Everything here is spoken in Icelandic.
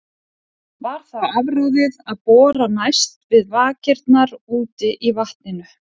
Var þá afráðið að bora næst við vakirnar úti í vatninu.